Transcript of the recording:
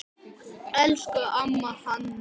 Elsku amma Hanna.